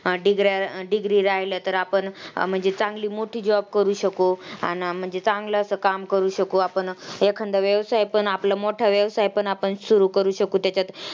degree राहिल्या तर आपण म्हणजे चांगली मोठी job करू शकू. म्हणजे चांगलं असं काम करू शकू आपण. एखाद्या वेळेस आपण आपलं मोठा वेळ आपण सुरू करू शकू तेच्यात.